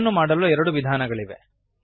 ಇದನ್ನು ಮಾಡಲು ಎರಡು ವಿಧಾನಗಳಿವೆ